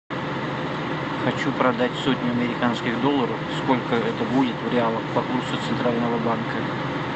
хочу продать сотню американских долларов сколько это будет в реалах по курсу центрального банка